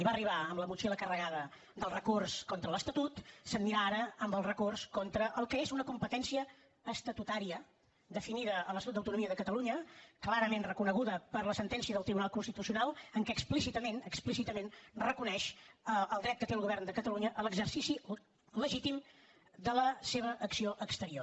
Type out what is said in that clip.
hi va arribar amb la motxilla carregada del recurs contra l’estatut se n’anirà ara amb el recurs contra el que és una competència estatutària definida a l’estatut d’autonomia de catalunya clarament reconeguda per la sentència del tribunal constitucional en què explícitament explícitament reconeix el dret que té el govern de catalunya a l’exercici legítim de la seva acció exterior